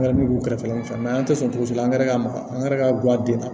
Angɛrɛ b'u kɛrɛfɛ an tɛ sɔn togo si la an yɛrɛ ka makan an gɛrɛra k'a bila den na